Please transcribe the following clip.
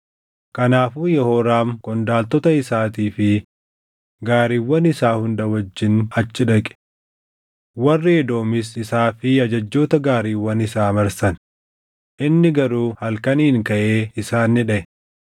Kanaafuu Yehooraam qondaaltota isaatii fi gaariiwwan isaa hunda wajjin achi dhaqe. Warri Edoomis isaa fi ajajjoota gaariiwwan isaa marsan; inni garuu halkaniin kaʼee isaan ni dhaʼe.